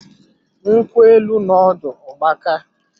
Nkwụ élú nọ ọdụ ọ gbakaa